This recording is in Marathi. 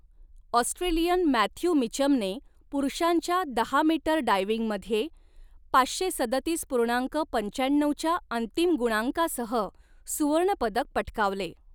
ऑस्ट्रेलियन मॅथ्यू मिचमने पुरुषांच्या दहा मीटर डायव्हिंगमध्ये पाचशे सदतीस पूर्णांक पंचाण्णऊच्या अंतिम गुणांकासह सुवर्णपदक पटकावले.